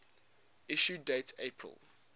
issue date april